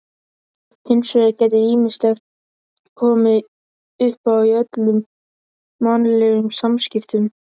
Hins vegar geti ýmislegt komið uppá í öllum mannlegum samskiptum.